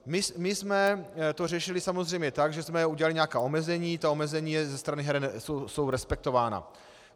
My jsme to řešili samozřejmě tak, že jsme udělali nějaká omezení, ta omezení ze strany heren jsou respektována.